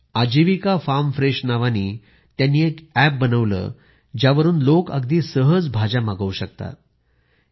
या महिलांनी Aajeevika farm fresh नावानी एक एप बनवले ज्यावरून लोक अगदी सहज भाज्या मागवू शकतात